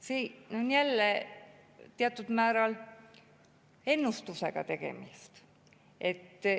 Siin on jälle teatud määral ennustusega tegemist.